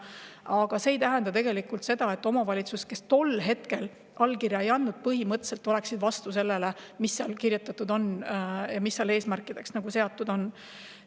Aga see ei tähenda seda, et omavalitsused, kes tol hetkel allkirja ei andnud, oleksid põhimõtteliselt vastu sellele, mis seal kirjas on ja mis eesmärgid seal seatud on.